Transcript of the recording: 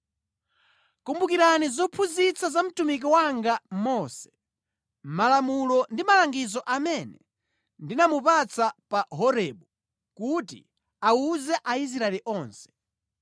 Kumbukirani zophunzitsa za mtumiki wanga Mose, malamulo ndi malangizo amene ndinamupatsa pa Horebu kuti awuze Aisraeli onse.